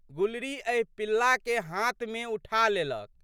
गुलरी एहि पिल्लाके हाथमे उठा लेलक।